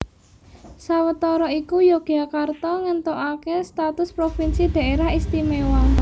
Sawetara iku Yogyakarta ngéntukaké status provinsi Dhaerah Istimewa